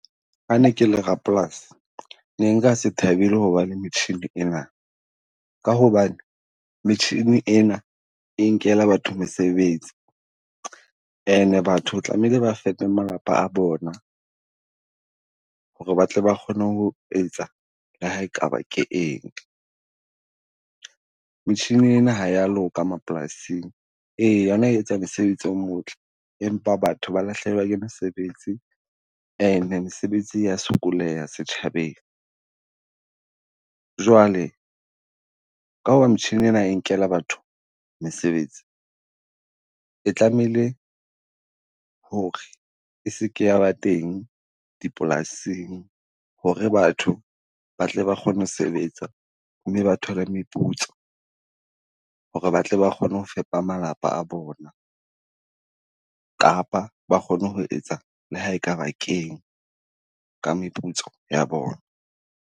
Ha ne ke le rapolasi ne nka se thabele ho ba le metjhini Ena. Ka hobane metjhini ena e nkela batho mesebetsi ane Batho tlamehile ba fepe malapa a bona ho re batle ba kgone ho etsa le ha e ka ba ke eng. Metjhini Ena ja ya loka mapolasing, ee yona e etsa mosebetsi o motle, empa batho ba lahlehelwa ke mesebetsi ene mesebetsi ya sokoleha setjhabeng. Jwale ka ho ba metjhini ena e nkela batho mesebetsi, e tlamehile ho re e seke ya teng dipolasing ho re batho ba tle ba kgone ho sebetsa mme ba thole meputso. Ho re ba tle ba kgone ho fepa malapa a bona, kapa ba kgone ho etsa le ha e ka ba keng ka meputso ya bona.